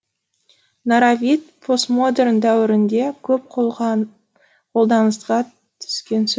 постмодерн дәуірінде көп қолданысқа түскен